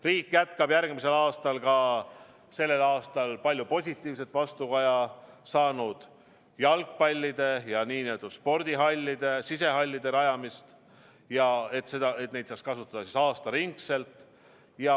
Riik jätkab järgmisel aastal ka sellel aastal palju positiivset vastukaja saanud spordi sisehallide rajamist, et neid saaks kasutada aastaringselt.